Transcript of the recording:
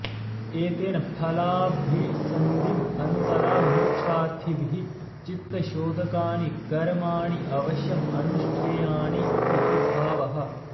एतेन फलाभिसन्धिं अन्तरा मोक्षार्थिभिः चित्तशोधकानि कर्माणि अवश्यं अनुष्ठेयानि इति भावः